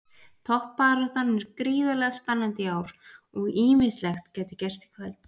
Toppbaráttan er gríðarlega spennandi í ár og ýmislegt gæti gerst í kvöld.